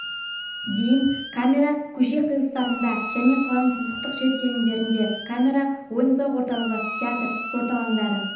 дейін камера көше қиылыстарында және қаланың сызықтық жер телімдерінде камера ойын-сауық орталығы театр спорт алаңдары